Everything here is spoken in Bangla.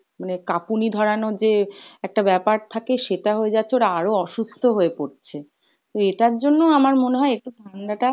মানে কাঁপুনি ধরানো যে একটা ব্যাপার থাকে সেটা হয়ে যাচ্ছে, ওরা আরো অসুস্থ হয়ে পরছে। তো এটার জন্যও আমার মনে হয় একটু ঠাণ্ডা টা,